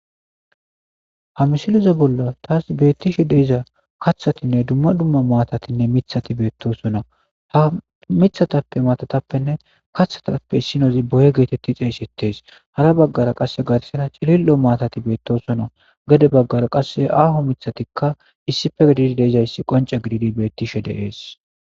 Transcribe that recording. Ha missile bola tasi bettishe de'za kaththatinne duma duma matatinne miththati bettosona ha mithatappene matatappe kaththatappe issinozi boye getetidi xeyissetes hara bagara qase garsara cilillo matatiti bettossona gede bagara qase aahoo miththati issipe gididi dizay qoncce giddid beettes.